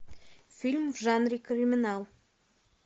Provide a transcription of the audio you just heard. фильм в жанре криминал